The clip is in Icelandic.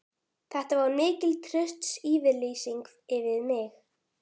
Þetta var mikil trausts yfirlýsing við mig.